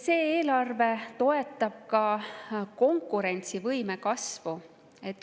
See eelarve toetab ka konkurentsivõime kasvu.